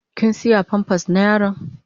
Kin siya "pampers "na yaron?